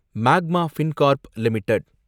magma Fincorp limited